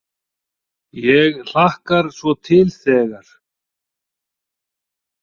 Ég hlakkar svo til þegar.